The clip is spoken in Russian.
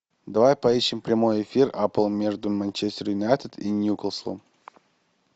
давай поищем прямой эфир апл между манчестер юнайтед и ньюкаслом